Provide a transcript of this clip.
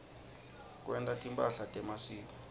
kwenta timphahla temasiko